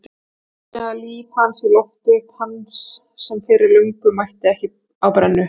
Sprengja líf hans í loft upp, hans sem fyrir löngu mætti ekki á brennu.